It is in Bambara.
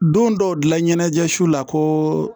Don dɔw dilan ɲɛnajɛ su la ko